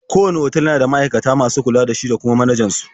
Kowanne otal yana da ma'aikata masu kula da shi da kuma manajan su.